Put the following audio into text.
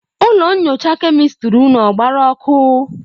ụlọ nyocha kemịstịrị ụnụ ọ gbarụ ọkụ?